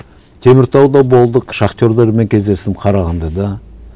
теміртауда болдық шахтерлармен кездестім қарағандыда